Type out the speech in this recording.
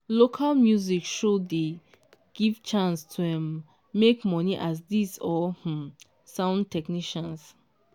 local music shows dey give chance to um make money as djs or um sound technicians.